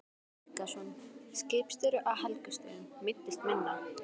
Helgason, skipstjóri á Helgustöðum, meiddist minna.